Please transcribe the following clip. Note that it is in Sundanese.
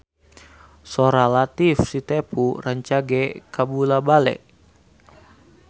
Sora Latief Sitepu rancage kabula-bale